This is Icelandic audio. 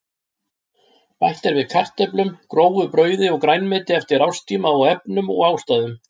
Bætt er við kartöflum, grófu brauði og grænmeti eftir árstíma og efnum og ástæðum.